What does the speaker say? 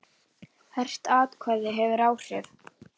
Hvert atkvæði hefur áhrif.